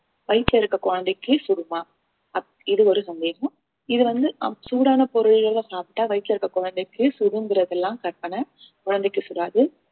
வயித்துல இருக்க குழந்தைக்கு சுடுமா அப்~ இது ஒரு சந்தேகம் இது வந்து அஹ் சூடான பொருள்களை சாப்பிட்டா வயித்துல இருக்க குழந்தைக்கு சுடுங்குறது எல்லாம் கற்பனை குழந்தைக்கு சுடாது